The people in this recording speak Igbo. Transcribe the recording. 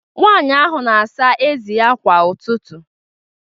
Nwanyị ahụ na-asa ezi ya kwa ụtụtụ